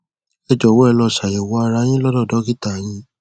ẹ jọwọ ẹ lọ ṣàyẹwò ara yín lọdọ dọkítà yín